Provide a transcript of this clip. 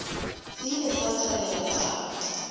se ile sa thabela taba